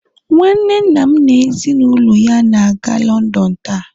nwanne nna m na ezi na ulo ya na-aga London taa